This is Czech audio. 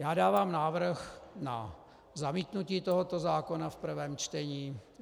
Já dávám návrh na zamítnutí tohoto zákona v prvém čtení.